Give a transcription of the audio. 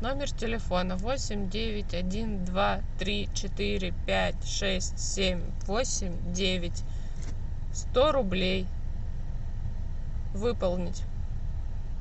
номер телефона восемь девять один два три четыре пять шесть семь восемь девять сто рублей выполнить